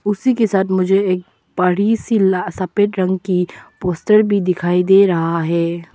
उसी के साथ मुझे एक बड़ी सी ला सफेद रंग की पोस्टर भी दिखाई दे रहा है।